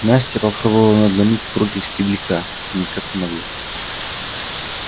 настя попробовала надломить прутик стебелька и никак не могла